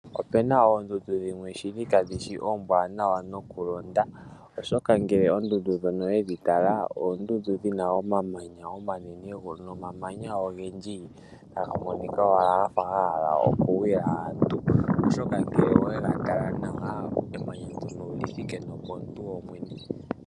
Opena oondudu dhimwe shili kadhishi oombwanawa nokulonda, oshoka ngele oondudu dhono owedhi tala oondudu dhina omamanya omanene, nomamanya ogendji gamwe. taga monika owala gafa gahala okugwila aantu. oshoka ngele oweli tala nawa emamya ndono olyi thike nopomuntu popwene.